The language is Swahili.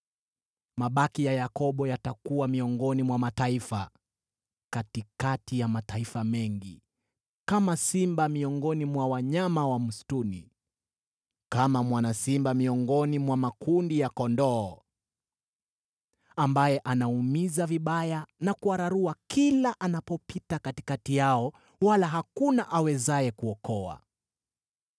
Mabaki ya Yakobo yatakuwa miongoni mwa mataifa, katikati ya mataifa mengi, kama simba miongoni mwa wanyama wa msituni, kama mwana simba miongoni mwa makundi ya kondoo, ambaye anaumiza vibaya na kuwararua kila anapopita katikati yao, wala hakuna awezaye kuokoa.